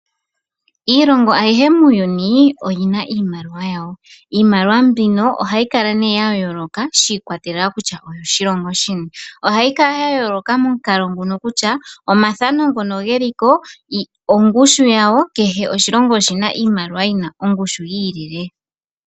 Iilongo ayihe muuyuni oyina iimaliwa yawo. Iimaliwa mbika ohayi kala ne ya yooloka shi ikwatelela kutya oyo koshilongo shini, ohayi kala ya yooloka momukalo nguka kutya omathano ngoka geliko, ongushu yawo, kehe oshilongo oshina iimaliwa yina oongushu yii lile.